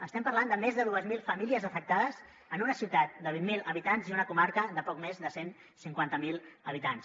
estem parlant de més de dues mil famílies afectades en una ciutat de vint miler habitants i una comarca de poc més de cent i cinquanta miler habitants